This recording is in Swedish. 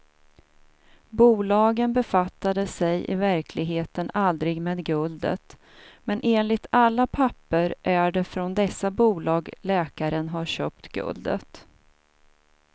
Bolagen befattade sig i verkligheten aldrig med guldet, men enligt alla papper är det från dessa bolag läkaren har köpt guldet.